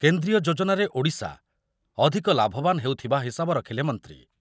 କେନ୍ଦ୍ରୀୟ ଯୋଜନାରେ ଓଡ଼ିଶା ଅଧିକ ଲାଭବାନ ହେଉଥବା ହିସାବ ରଖିଲେ ମନ୍ତ୍ରୀ ।